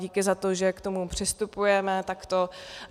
Díky za to, že k tomu přistupujeme takto.